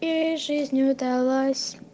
и жизнь удалась